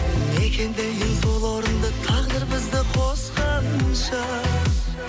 мекендейін сол орынды тағдыр бізді қосқанша